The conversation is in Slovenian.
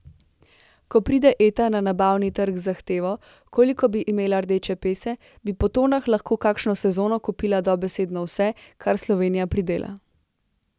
Ko pride Eta na nabavni trg z zahtevo, koliko bi imela rdeče pese, bi po tonah lahko kakšno sezono kupila dobesedno vse, kar Slovenija pridela.